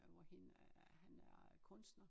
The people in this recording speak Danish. Hvor hende øh han er øh kunstner